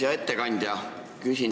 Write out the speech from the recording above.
Hea ettekandja!